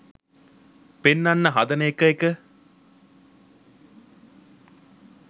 පෙන්නන්න හදන එක එක.